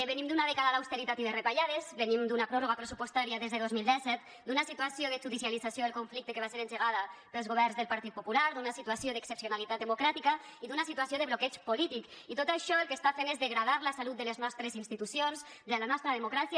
venim d’una dècada d’austeritat i de retallades venim d’una pròrroga pressupostària des de dos mil disset d’una situació de judicialització del conflicte que va ser engegada pels governs del partit popular d’una situació d’excepcionalitat democràtica i d’una situació de bloqueig polític i tot això el que està fent és degradar la salut de les nostres institucions de la nostra democràcia